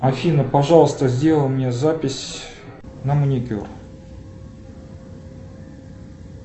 афина пожалуйста сделай мне запись на маникюр